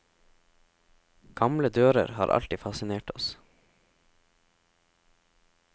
Gamle dører har alltid fasinert oss.